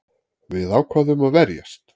Við ákváðum að verjast